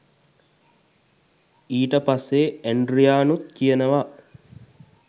ඊට පස්සේ ඇන්ඩ්‍රියානුත් කියනවා